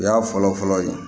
O y'a fɔlɔ-fɔlɔ ye